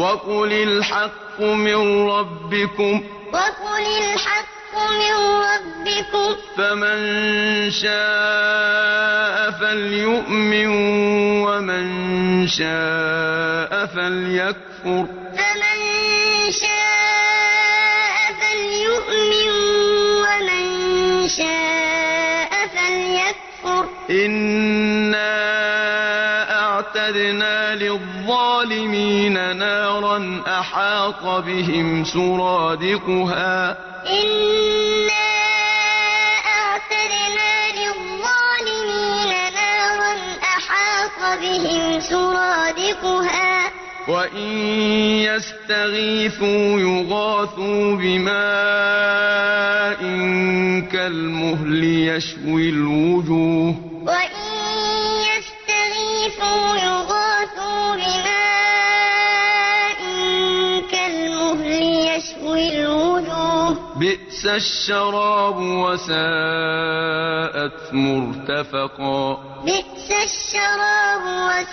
وَقُلِ الْحَقُّ مِن رَّبِّكُمْ ۖ فَمَن شَاءَ فَلْيُؤْمِن وَمَن شَاءَ فَلْيَكْفُرْ ۚ إِنَّا أَعْتَدْنَا لِلظَّالِمِينَ نَارًا أَحَاطَ بِهِمْ سُرَادِقُهَا ۚ وَإِن يَسْتَغِيثُوا يُغَاثُوا بِمَاءٍ كَالْمُهْلِ يَشْوِي الْوُجُوهَ ۚ بِئْسَ الشَّرَابُ وَسَاءَتْ مُرْتَفَقًا وَقُلِ الْحَقُّ مِن رَّبِّكُمْ ۖ فَمَن شَاءَ فَلْيُؤْمِن وَمَن شَاءَ فَلْيَكْفُرْ ۚ إِنَّا أَعْتَدْنَا لِلظَّالِمِينَ نَارًا أَحَاطَ بِهِمْ سُرَادِقُهَا ۚ وَإِن يَسْتَغِيثُوا